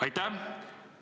Aitäh!